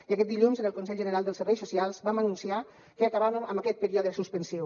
i aquest dilluns en el consell general dels serveis socials vam anunciar que acabàvem amb aquest període suspensiu